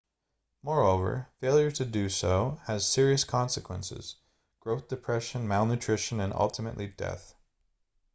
moreover failure to do so has serious consequences growth depression malnutrition and ultimately death